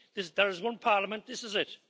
There is one parliament this is it.